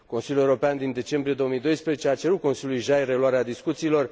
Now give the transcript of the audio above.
Consiliul European din decembrie 2012 a cerut Consiliului JAI reluarea discuțiilor